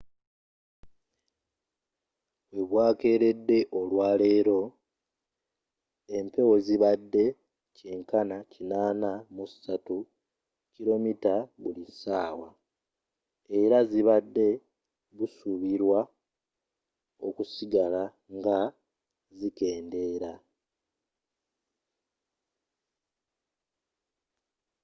webukeeredde olwaleero empewo zibadde kyenkana 83 km/h era zibadde busuubirwa okusigala nga zikendeera